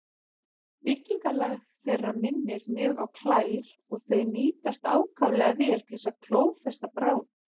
Byggingarlag þeirra minnir mjög á klær og þau nýtast ákaflega vel til að klófesta bráð.